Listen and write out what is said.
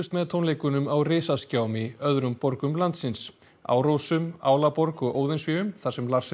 með tónleikunum á risaskjám í öðrum borgum landsins Árósum Álaborg og Óðinsvéum þar sem